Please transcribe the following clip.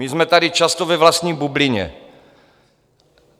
My jsme tady často ve vlastní bublině.